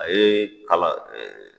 A ye kalan ɛɛ